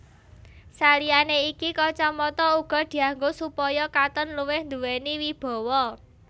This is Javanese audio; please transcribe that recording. Saliyané iki kacamata uga dianggo supaya katon luwih nduwéni wibawa